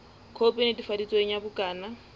khopi e netefaditsweng ya bukana